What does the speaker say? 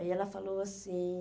Aí ela falou assim...